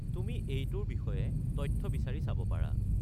তুমি এইটোৰ বিষয়ে তথ্য বিচাৰি চাব পাৰা।